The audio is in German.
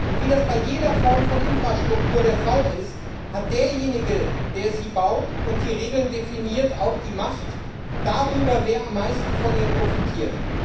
Und wie das bei jeder Form von Infrastruktur der Fall ist, hat derjenige, der sie baut und die Regeln definiert, auch die Macht darüber, wer am meisten von ihr profitiert.